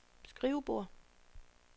skrivebord